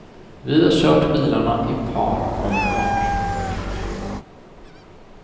Vi har kört bilarna i par om par.